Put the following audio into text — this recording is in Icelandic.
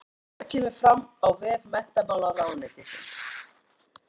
Þetta kemur fram á vef menntamálaráðuneytisins